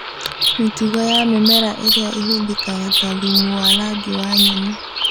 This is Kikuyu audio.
Mĩtugo ya mĩmera ĩrĩa ĩhũthĩkaga ta thumu wa rangi wa nyeni